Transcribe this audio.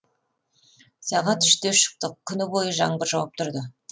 сағат үште шықтық күні бойы жаңбыр жауып тұрды